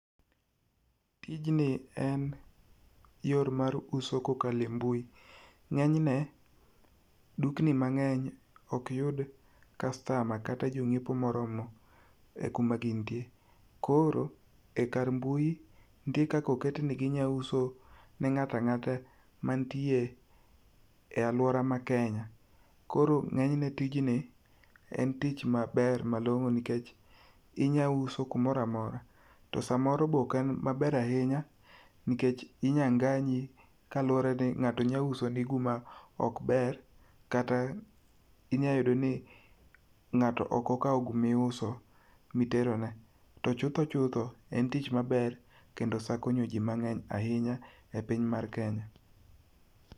Tijni en yor mar uso kokalo e mbui. Ng'enyne dukni mang'eny ok yud customer kata jonyiepo moromo kuma gintie koro ekar mbui nitie kaka oket niginyalo usone ng'ato ang'ata man tie e aluora ma Kenya. Koro ng'enyne tijni en tich maber malong'o nikech inya uso kamoro amora to samoro be ok en maber ahinya nikech samoro inyalo nganyi kaluwore ni ng'ato nyalo usoni gima ok ber kata nyalo yudo ni ng'ato ok okawo guma iuso miterone. To chutho chutho, en tich maber kendo osekonyo ji mang'eny ahinya e piny mar Kenya